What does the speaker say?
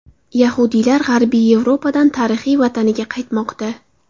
Yahudiylar G‘arbiy Yevropadan tarixiy vataniga qaytmoqda.